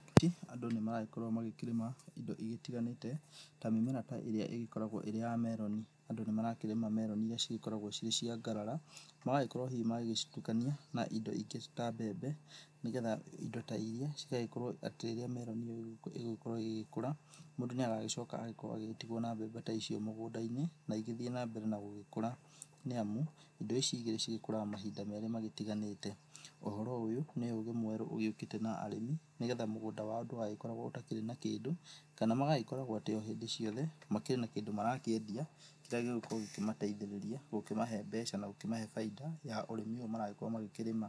Andũ nĩ maragĩkorwo makĩrĩma indo itiganĩte ta mĩmera ta ĩrĩa igĩkoragwo ĩrĩ ya meroni, andũ nĩ marakĩrĩma meroni iria cigĩkorawo cicia ngarara magagĩkorwo hihi magĩgĩcitukania na indo ingĩ ta mbembe, nĩgetha indo ta iria cigagĩkorwo atĩ rĩrĩa meroni ĩyo igũgĩkorwo igĩkura mũndũ nĩ agagicoka agagĩkorwo agĩtigwo na mbembe ta icio mũgũnda-inĩ na igĩthiĩ na mbere na gũgĩkũra nĩ amu indo ici igĩrĩ cigĩkũraga mahinda merĩ magĩtiganĩte ,ũhoro ũyũ nĩ ũgĩ mweru ũgĩukĩte na arĩmi nĩgetha mũgũnda wao ndũgagĩkorwo ũtarĩ na kĩndũ kana magagĩkoragwo atĩ o hĩndĩ ciothe makĩrĩ na kĩndũ marakĩendia kĩrĩa gĩgũkorwo gĩkĩmateithĩrĩria gũkĩmahe mbeca na gũkĩmahe baita ya ũrĩmi ũyũ maragĩkorwo makĩrĩma.